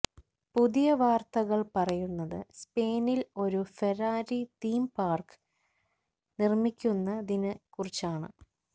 പുതിയ വാര്ത്തകള് പറയുന്നത് സ്പെയിനില് ഒരു ഫെരാരി തീം പാര്ക്ക് നിര്മിക്കുന്നതിനെക്കുറിച്ചാണ്